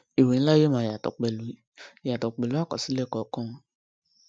ìwé ńlá yóò máa yàtọ pẹlú yàtọ pẹlú àkọsílẹ kọọkan